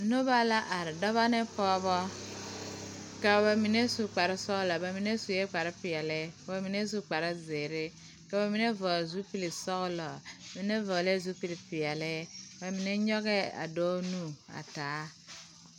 Noba la are dɔbɔ ne pɔgebɔ ka ba mine su kpare sɔglɔ ka mine su kpare peɛle k'o mine su kpare zeere ka ba mine vɔgle sɔglɔ mine vɔgli la zupili peɛle ba mine nyɔgɛɛ a dɔɔ nu taa.